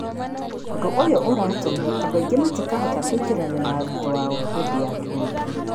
Ũndũ ũyũ ũratũma andũ aingĩ matikahota kũingĩrana na arutwo ao hĩndĩ ya kĩng'ũki.